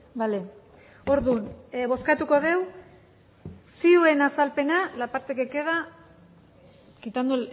vale orduan bozkatuko dugu zioen azalpena la parte que queda quitando